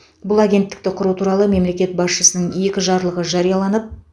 бұл агенттікті құру туралы мемлекет басшысының екі жарлығы жарияланып